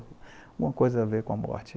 Alguma coisa a ver com a morte